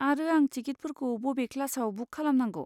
आरो आं टिकिटफोरखौ बबे क्लासआव बुक खालामनांगौ?